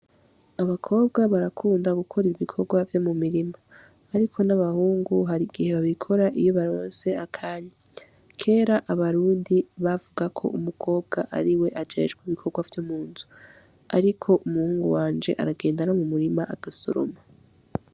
Abakobwa barakunda gukora ibikorwa vyo mu mirima, ariko n’abahungu hari igihe babikora iyo baronse akanya. Kera abarundi bavuga ko umukobwa ari we ajejwe ibikorwa vyo mu nzu, ariko umuhungu wanje aragenda no mu murima agasoroma.